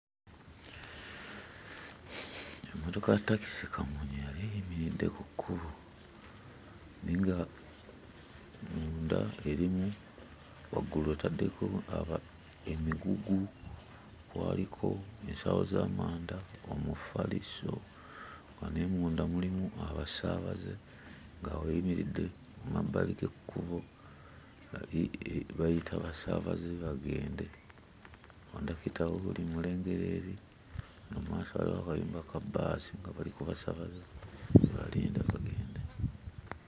Emmotoka ya ttakisi kamunye yali eyimiridde ku kkubo naye nga munda erimu, waggulu etaddeko aaa, emigugu, kwaliko ensawo z'amanda, omufaliso, nga ne munda mulimu abasaabaze nga eyimiridde mmabbali g'ekkubo nga bayita basaabaze bagende. Kkondakita wuuli mmulengera eri, mu maaso waliyo akayumba ka bbaasi akaliko abasaabaze be balinda bagende.